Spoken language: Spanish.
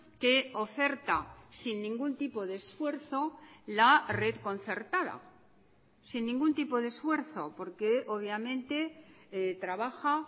que oferta sin ningún tipo de esfuerzo la red concertada sin ningún tipo de esfuerzo porque obviamente trabaja